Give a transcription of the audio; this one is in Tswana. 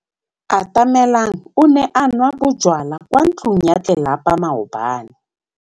Atamelang o ne a nwa bojwala kwa ntlong ya tlelapa maobane.